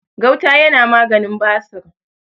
gauta yana maganin basir